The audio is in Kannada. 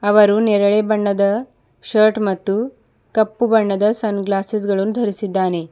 ಅವರು ನೇರಳೆ ಬಣ್ಣದ ಶರ್ಟ್ ಮತ್ತು ಕಪ್ಪು ಬಣ್ಣದ ಸನ್ ಗ್ಲಾಸಸ್ ಗಳನ್ನು ಧರಿಸಿದ್ದಾನೆ.